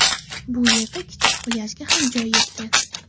Bu yerda kichik plyajga ham joy yetgan.